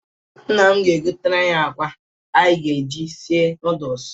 Nna m ga-ebonyem akwa anyị ga-eji sie nọọdụs.